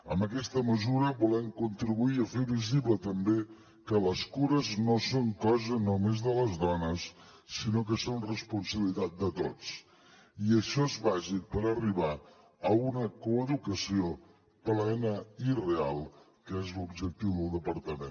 amb aquesta mesura volem contribuir a fer visible també que les cures no són cosa només de les dones sinó que són responsabilitat de tots i això és bàsic per arribar a una coeducació plena i real que és l’objectiu del departament